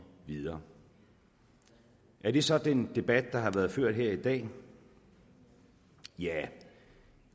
videre er det så den debat der har været ført her i dag ja